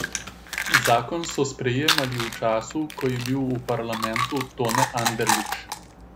Zakon so sprejemali v času, ko je bil v parlamentu Tone Anderlič.